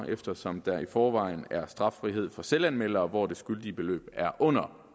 eftersom der i forvejen er straffrihed for selvanmeldere hvor det skyldige beløb er under